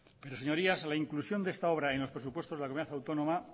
pero señorías la inclusión de esta obra en los presupuestos de la comunidad autónoma